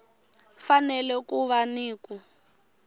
fanele ku va ni ku